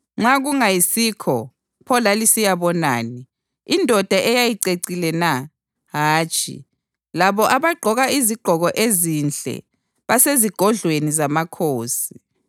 Nxa kungayisikho, pho lalisiyabonani? Indoda eyayicecile na? Hatshi, labo abagqoka izigqoko ezinhle basezigodlweni zamakhosi.